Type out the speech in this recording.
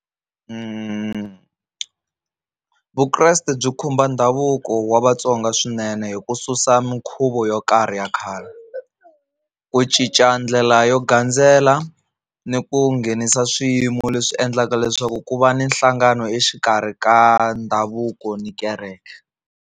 Vukreste byi khumba ndhavuko wa Vatsonga swinene hi ku susa minkhuvo yo karhi ya khale, ku cinca ndlela yo gandzela ni ku nghenisa swiyimo leswi endlaka leswaku ku va ni nhlangano exikarhi ka ndhavuko ni kereke.